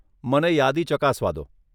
મને યાદી ચકાસવા દો.